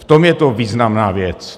V tom je to významná věc.